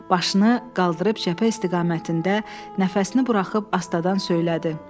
Başını qaldırıb cəbhə istiqamətində nəfəsini buraxıb astadan söylədi: